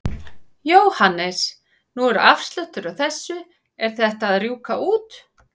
Jóhannes: Nú er afsláttur á þessu, er þetta að rjúka út?